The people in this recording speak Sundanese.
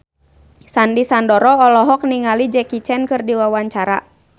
Sandy Sandoro olohok ningali Jackie Chan keur diwawancara